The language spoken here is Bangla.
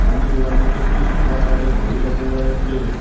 সামনের ওয়াল -টিতে একটি সাদা কালার -এর ঘড়ি লক্ষ করা যাচ্চে।